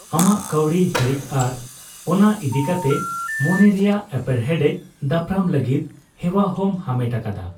ᱟᱢᱟᱜ ᱠᱟᱣᱰᱤ ᱦᱤᱲᱤᱡ ᱟᱨ ᱚᱱᱟ ᱤᱫᱤ ᱠᱟᱛᱮ ᱢᱚᱱᱮ ᱨᱮᱭᱟᱜ ᱮᱯᱮᱨᱦᱮᱸᱰᱮᱡ ᱫᱟᱯᱨᱟᱢ ᱞᱟᱜᱤᱫ ᱦᱮᱣᱟ ᱦᱚᱸᱢ ᱦᱟᱢᱮᱴ ᱟᱠᱟᱫᱟ ᱾